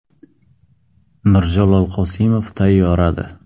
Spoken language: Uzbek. Mirjalol Qosimov tayyoradi.